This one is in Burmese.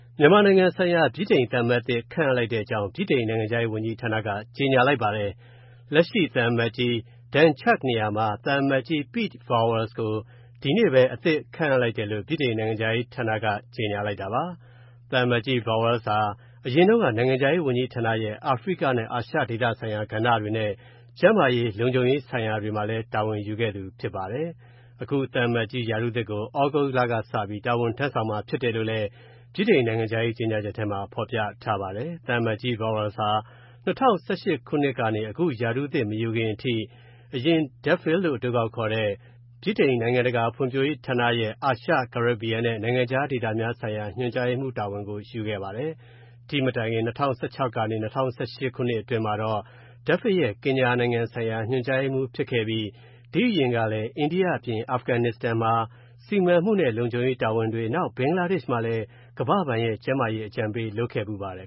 မြန်မာနိုင်ငံဆိုင်ရာ ဗြိတိန်သံအမတ်သစ် ခန့်အပ်လိုက်တဲ့အကြောင်း ဗြိတိန်နိုင်ငံခြားရေးဌာနက ကြေညာပါတယ်။ လက်ရှိသံအမတ်ကြီး Dan Chugg နေရာမှာ သံအမတ်ကြီး Pete Vowles ကို ဒီနေ့ပဲ အသစ်ခန့်အပ်လိုက်တယ်လို့ ဗြိတိန်နိုင်ငံခြားရေးဌာနက ကြေညာတာပါ။ သံအတ်ကြီး Vowles ဟာ အရင်တုံးက နိုင်ငံခြားရေးဝန်ကြီးဌာနရဲ့ အာဖရိကနဲ့ အာရှဒေသဆိုင်ရာကဏ္ဍတွေနဲ့ ကျန်းမာရေး၊ လုံခြုံရေးဆိုင်ရာတွေမှာလည်း တာဝန်ယူခဲ့သူဖြစ်ပါတယ်။ အခု သံအမတ်ကြီးရာထူးသစ်ကို သြဂုတ်လကစပြီး တာဝန်ထမ်းဆောင်မှာဖြစ်တယ်လို့လည်း ဗြိတိန်နိုင်ငံခြားရေးကြေညာချက်ထဲမှာ ဖော်ပြထားပါတယ်။ သံအမတ်ကြီး Vowels ဟာ ၂၀၁၈ ခုနှစ်ကနေ အခုရာထူးသစ်မယူခင်အထိ အရင် DFID လို့ အတိုကောက်ခေါ်တဲ့ ဗြိတိန် နိုင်ငံတကာဖွံ့ဖြိုးရေးဌာနရဲ့ အာရှ၊ ကာရစ်ဘီယံနဲ့ နိုင်ငံခြားဒေသများဆိုင်ရာ ညွှန်ကြားရေးမှူးတာဝန် ယူခဲ့ပါတယ်။ ဒီ့မတိုင်ခင် ၂၀၁၆ ကနေ ၂၀၁၈ ခုနှစ်အတွင်းမှာတော့ DFID ရဲ့ ကင်ညာနိုင်ငံဆိုင်ရာ ညွှန်ကြားရေးမှူးဖြစ်ခဲ့ပြီး ဒီ့အရင်ကလည်း အိန္ဒိယအပြင် အာဖဂန်နစ္စတန်မှာ စီမံမူနဲ့လုံခြုံရေးတာဝန်တွေ၊ နောက် ဘင်္ဂလားဒေ့ရှ်မှာလည်း ကမ္ဘာ့ဘဏ်ရဲ့ကျန်းမာရေးအကြံပေးလုပ်ခဲ့ဖူးပါတယ်